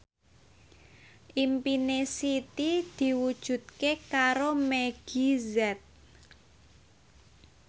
impine Siti diwujudke karo Meggie Z